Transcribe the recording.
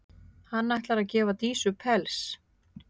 Hann ætlar að gefa Dísu pels.